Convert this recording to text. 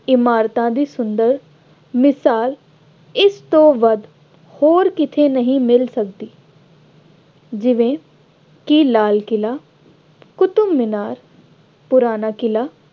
ਇਮਾਰਤਾਂ ਦੀ ਸੁੰਦਰ ਮਿਸਾਲ ਇਸ ਤੋਂ ਵੱਧ ਹੋਰ ਕਿਤੇ ਨਹੀਂ ਮਿਲ ਸਕਦੀ। ਜਿਵੇਂ ਕਿ ਲਾਲ ਕਿਲਾ, ਕੁਤਬ ਮਿਨਾਰ, ਪੁਰਾਣਾ ਕਿਲਾ,